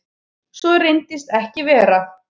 Svo reynist ekki vera.